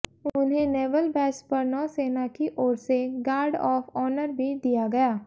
उन्हें naval base पर नौसेना की ओर से गार्ड ऑफ ऑनर भी दिया गया